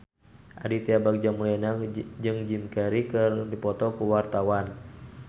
Aditya Bagja Mulyana jeung Jim Carey keur dipoto ku wartawan